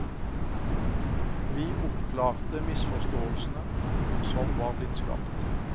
Vi oppklarte misforståelsene som var blitt skapt.